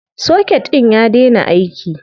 Soket ɗin ya daina aiki.